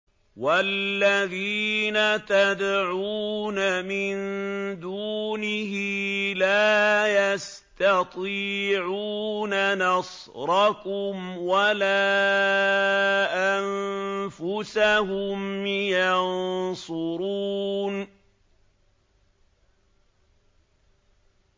وَالَّذِينَ تَدْعُونَ مِن دُونِهِ لَا يَسْتَطِيعُونَ نَصْرَكُمْ وَلَا أَنفُسَهُمْ يَنصُرُونَ